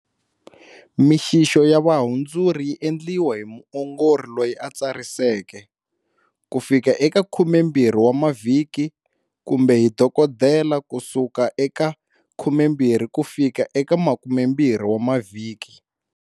Mixixo ya vuhandzuri yi endliwa hi muongori loyi a tsariseke, kufika eka 12 wa mavhiki, kumbe hi doko dela, kusuka eka 12 kufika eka 20 wa mavhiki.